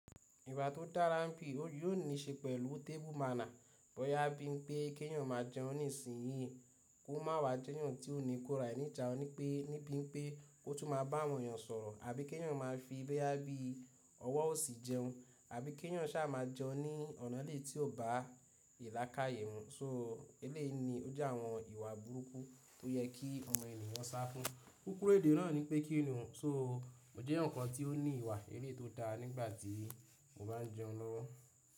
Ìwà tó dára m̀pí, ó yóò níí ṣe pẹ̀lú tébù màna bọ́yá bí i pé kí èèyàn máa jẹun ní ìsìn yìí kó má wá jẹ́ èèyàn tí ó ní kó rà ẹ ní ijánu ní pé ní bí i pé ó tún máa bá àwọn èèyàn sọ̀rọ̀ àbí kí èèyàn máa fi bóyá bí i ọwọ́ òsì jẹun, àbí kí èèyàn ṣà máa jẹun ní ọ̀nà eléyìí tí ò bá ìlàákáyẹ̀ mù. So eléèni ó jẹ́ àwọn ìwà burúkú tó yẹ kí ọmọ ènìyàn sá fún. Kúkúrú èdè náà ní pé kíni ohun, so mo jẹ́ èèyàn kan tí ó ní ìwà eléyìí tó dára nígbà tí mo bá ń jẹun lọ́wọ́.